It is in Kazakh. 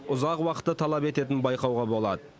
ұзақ уақытты талап ететінін байқауға болады